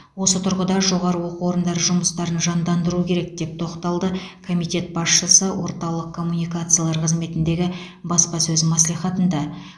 осы тұрғыда жоғары оқу орындары жұмыстарын жандандыруы керек деп тоқталды комитет басшысы орталық коммуникациялар қызметіндегі баспасөз мәслихатында